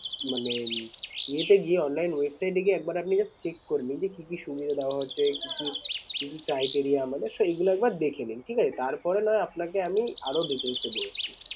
মানে ইয়েতে গিয়ে online website এ গিয়ে একবার আপনি just check করে নিন যে কি কি সুবিধা দেওয়া হচ্ছে? কি কি criteria আমাদের sir এইগুলো একবার দেখেনিন ঠিক আছে। তারপরে না হয় আপনাকে আমি আরো details এ বলছি।